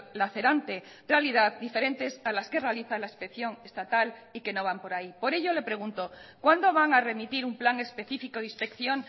lacerante realidad diferentes a las que realiza la inspección estatal y que no van por ahí por ello le pregunto cuándo van a remitir un plan específico de inspección